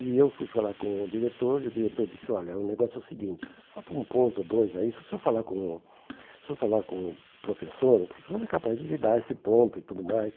E eu fui falar com o diretor e o diretor disse, olha, o negócio é o seguinte, falta um ponto ou dois aí, se eu falar com o se o senhor falar com o professor, o professor é capaz de lhe dar esse ponto e tudo mais.